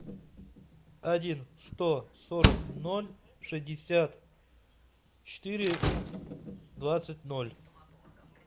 один сто сорок ноль шестьдесят четыре двадцать ноль